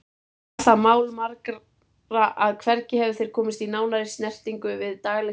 Var það mál margra að hvergi hefðu þeir komist í nánari snertingu við daglegt líf